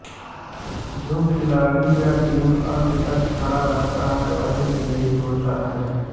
जो खिलाड़ी या टीम अंत तक खड़ा रहता है वही विजयी होता है